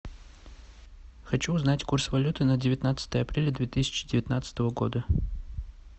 хочу узнать курс валюты на девятнадцатое апреля две тысячи девятнадцатого года